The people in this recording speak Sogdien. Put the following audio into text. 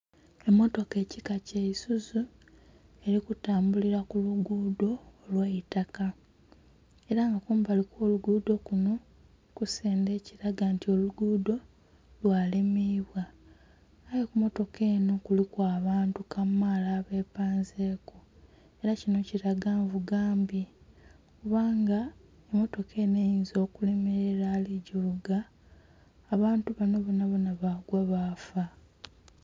Emotoka ekika kya isuzu eri kutambulila ku lugudho olweitaka era nga kumbali okwo lugudho kunho kusendhe ekilaga nti olugudho lwa limibwa. Aye ku motoka enho kuliku abantu kamaala abepanzeku era kinho kilaga nvuga mbi, kubanga emotoka enho eyinza okulemerela ali ku givuga abantu banho bonabona bagwa baafa.